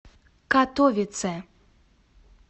катовице